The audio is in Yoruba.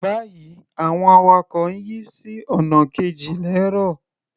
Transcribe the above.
Báyìí, àwọn awakọ̀ ń yí sí ọ̀nà kejì lẹ́ẹ́rọ̀.